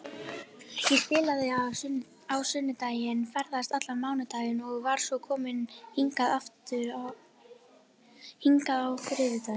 Ég spilaði á sunnudag, ferðaðist allan mánudaginn og var svo komin hingað á þriðjudaginn.